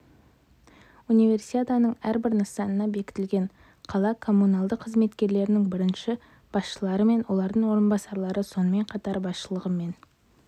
универсиаданың әрбір нысанына бекітілген қала коммуналды қызметтерінің бірінші басшылары мен олардың орынбасарлары сонымен қатар басшылығы мен